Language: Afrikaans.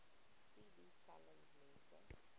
cd telling mense